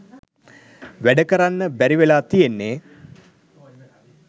වැඩ කරන්න බැරි වෙලා තියෙන්නේ